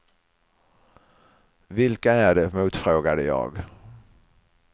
Vilka är det, motfrågade jag.